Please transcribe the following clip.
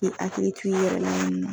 Bi hakili to i yɛrɛ la nunnu na.